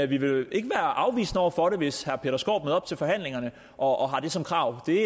vi vil ikke være afvisende over for det hvis herre peter skaarup til forhandlingerne og har det som krav det